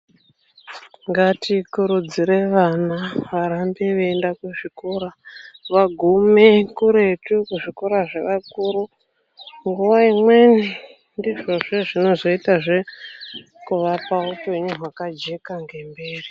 Ngatikurudzire vana varambe veienda kuzvikora vagume kuretu kuzvikora nguwa imweni ndizvona izvozvo zvinozoitawo ngemberi.